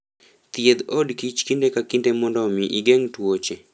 Thiedh od kich kinde ka kinde mondo omi igeng' tuoche.